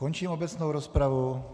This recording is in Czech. Končím obecnou rozpravu.